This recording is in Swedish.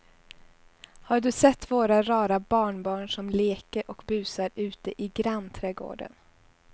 Har du sett våra rara barnbarn som leker och busar ute i grannträdgården!